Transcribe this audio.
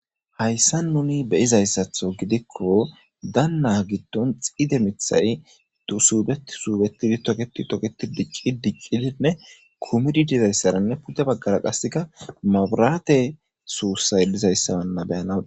Hayssa nuni beyizayssaththo gidikko danna giddon xide miiththay du suubeti suubetidi toketi toketi diici dicidinne kumidi dizayssara pudde baggara qasseka maburaate suussay dlizayssa be'anaw